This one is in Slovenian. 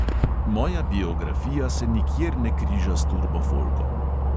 Moja biografija se nikjer ne križa s turbofolkom.